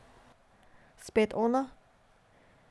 Spet ona?